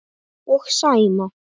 Og Sæma.